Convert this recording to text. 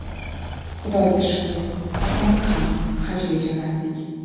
Xudoga shukr, otamni ham Hajga jo‘natdik.